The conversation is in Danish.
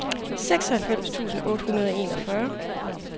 seksoghalvfems tusind otte hundrede og enogfyrre